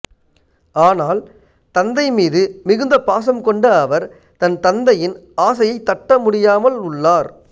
ஆனால் தந்தை மீது மிகுந்த பாசம் கொண்ட அவர் தன் தந்தையின் ஆசையை தட்டமுடியாமல் உள்ளார்